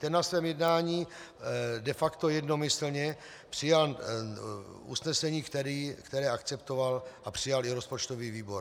Ten na svém jednání de facto jednomyslně přijal usnesení, které akceptoval a přijal i rozpočtový výbor.